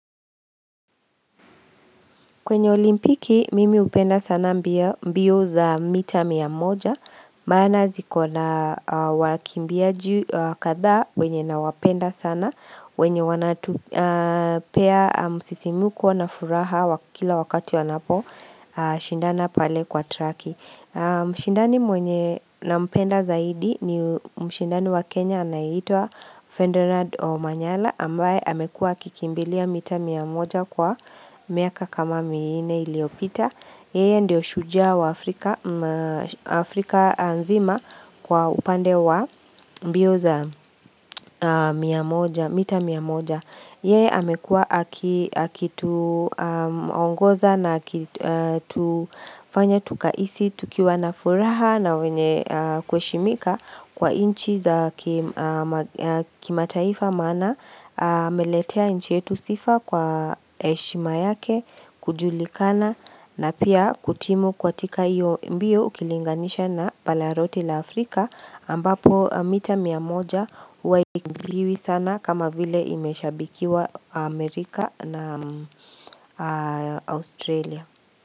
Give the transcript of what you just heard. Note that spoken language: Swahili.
Kwenye olimpiki mimi hupenda sana mbio za mita mia moja Maana ziko na wakimbiaji kadha wenye nawapenda sana wenye wanatupea msisimuko na furaha wa kila wakati wanapo shindana pale kwa traki Mshindani mwenye nampenda zaidi ni mshindani wa Kenya anayeitwa Fedinard Omanyala ambaye amekua akikimbilia mita mia moja kwa miaka kama minne iliopita Yeye ndio shujaa wa Afrika nzima kwa upande wa mbio za mita mia moja Yeye amekua akituongoza na akitufanya tukahisi, tukiwa na furaha na wenye kuheshimika Kwa nchi za kimataifa maana ameletea nchi yetu sifa kwa heshima yake kujulikana na pia kutimu katika hiyo mbio ukilinganisha na bara lote la Afrika ambapo mita mia moja huwa hakimbiwi sana kama vile imeshabikiwa Amerika na Australia.